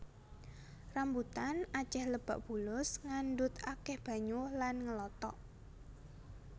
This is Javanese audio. Rambutan acéh lebak bulus ngandhut akéh banyu lan ngelotok